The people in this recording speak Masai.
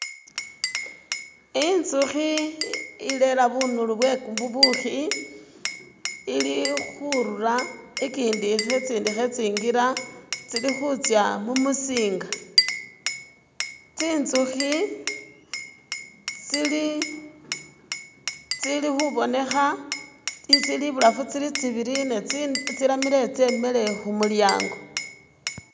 Inzukhi ilera bunuli bwebubukhi ili khurula ikindi itsindi khetsinkila tsilikhutsa mumusinga tsintsukhi tsili tsili khubonekha tsili ibulafu tsili tsibili ne tsiramile tsemile khumulyango.